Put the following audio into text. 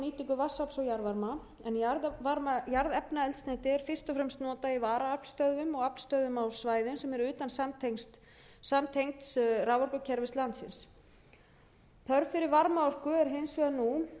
vatnsafls og jarðvarma en jarðefnaeldsneyti er fyrst og fremst notað í varaaflsstöðvum og aflstöðvum á svæðum sem eru utan samtengds raforkukerfis landsins þörf fyrir varmaorku er hins vegar nú